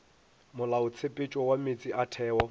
molaotshepetšo wa meetse a theo